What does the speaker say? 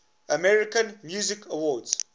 american music awards